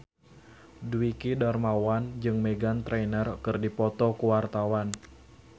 Dwiki Darmawan jeung Meghan Trainor keur dipoto ku wartawan